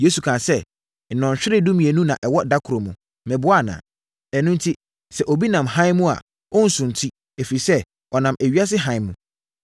Yesu kaa sɛ, “Nnɔnhwere dumienu na ɛwɔ da koro mu, meboa anaa? Ɛno enti, sɛ obi nam hann mu a, ɔrensunti, ɛfiri sɛ, ɔnam ewiase hann mu.